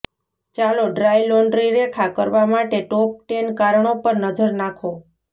ચાલો dry laundry રેખા કરવા માટે ટોપ ટેન કારણો પર નજર નાખો